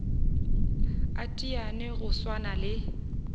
a teteane go swana le